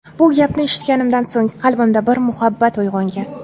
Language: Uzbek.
Bu gapni eshitganimdan so‘ng qalbimda bir muhabbat uyg‘ongan.